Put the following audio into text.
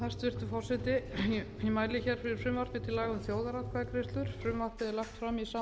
hæstvirtur forseti ég mæli fyrir frumvarpi til laga um þjóðaratkvæðagreiðslur frumvarpið er lagt fram í samræmi við samstarfsyfirlýsingu